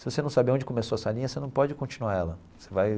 Se você não sabe aonde começou essa linha, você não pode continuar ela você vai.